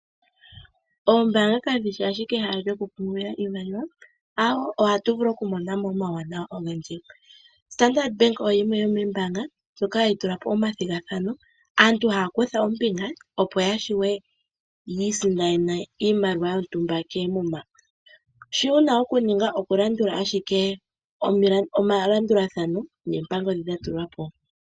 Oombaanga kadhi shi ashike ehala lyoku pungula iimaliwa, aawo ohatu vulu okumona mo omawuwanawa ogendji. Standard Bank oyimwe yomoombaanga ndjoka hayi eta po omathigathano. Aantu haya kutha ombinga opo ya vule yi isindanene oshimaliwa koomuma. Shi wu na okuninga oku landula ashike omalandulathano noompango ndhi dha tulwa po.